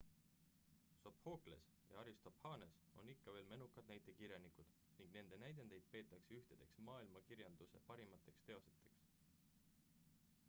sophokles ja aristophanes on ikka veel menukad näitekirjanikud ning nende näidendeid peetakse ühtedeks maailmakirjanduse parimateks teosteks